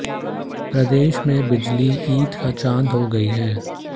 प्रदेश में बिजली ईद का चांद हो गई है